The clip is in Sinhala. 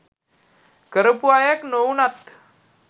කරපු අයෙක් නොවුනත්